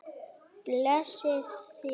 Blessi þig.